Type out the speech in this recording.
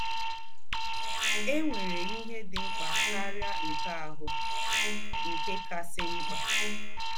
É nwèrè íhè dị̀ ḿkpà káríà nkè áhụ̀ — nkè kàsị́ ḿkpà